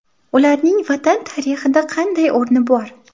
Ularning Vatan tarixida qanday o‘rni bor?.